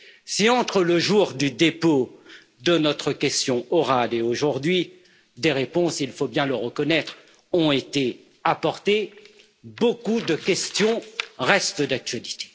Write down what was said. Si, entre le jour du dépôt de notre question orale et aujourd'hui, des réponses, il faut bien le reconnaître, ont été apportées, beaucoup de questions restent d'actualité.